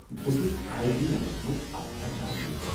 بہٕ چھُس A B Ms مَنٛز اکھ ایچ آر منیٚجر۔